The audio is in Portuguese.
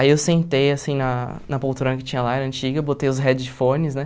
Aí eu sentei assim na na poltrona que tinha lá, era antiga, botei os headphones, né?